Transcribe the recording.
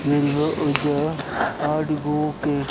आठ गो के --